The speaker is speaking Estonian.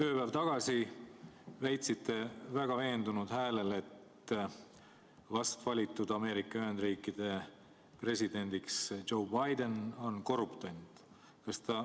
Ööpäev tagasi väitsite väga veendunud häälel, et vast valitud Ameerika Ühendriikide president Joe Biden on korruptant.